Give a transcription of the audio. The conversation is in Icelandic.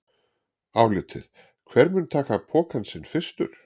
Álitið: Hver mun taka pokann sinn fyrstur?